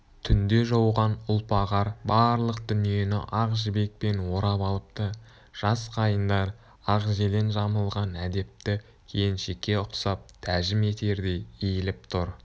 түнде жауған ұлпа қар барлық дүниені ақ жібекпен орап алыпты жас қайыңдар ақ желең жамылған әдепті келіншекке ұқсап тәжім етердей иіліп тұр